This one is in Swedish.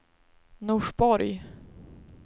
Norsborg